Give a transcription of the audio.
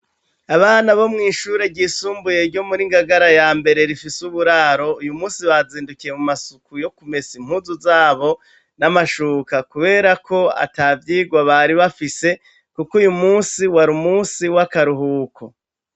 Abana bo mw'ishure ryisumbuye ryo muri Ngagara ya mbere, rifise uburaro. Uyu munsi bazindukiye mu masuku yo kumesa impuzu z'abo, n'amashuka ,kubera ko atavyigwa bari bafise, kuko uyu munsi wari munsi w'akaruhuko.